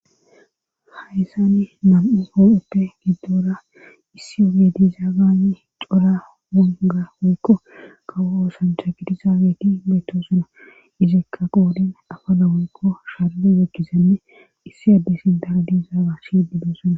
hayssani nam7u oo7eppe giddoora issi omediza gani cora wonga woykko kawo oosancha gidizaageti beeto suna izekka qoodin afala woykko sharle zekgizenne issi adde sin daradizaaga shiedido suna